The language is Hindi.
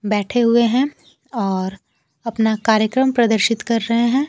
बैठे हुए हैं और अपना कार्यक्रम प्रदर्शित कर रहे हैं।